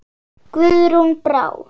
Guðrún Brá.